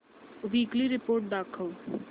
weekly report दाखव